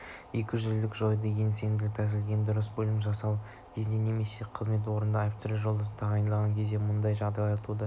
екіжүзділікті жоюдың ең сенімді тәсілі ең дұрысы бөлімді жасақтау кезінде немесе қызмет орнына офицер-жолдастарды тағайындаған кезде мұндай жағдайларда туады